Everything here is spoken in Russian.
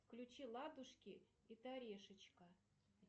включи ладушки и терешечка